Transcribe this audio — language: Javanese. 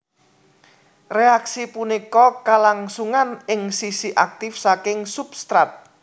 Reaksi punika kalangsungan ing sisi aktif saking substrat